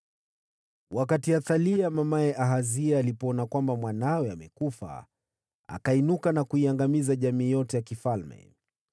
Wakati Athalia mamaye Ahazia alipoona kuwa mwanawe amekufa, akainuka na kuiangamiza jamaa yote ya mfalme.